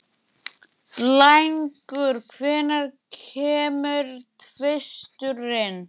Blængur, hvenær kemur tvisturinn?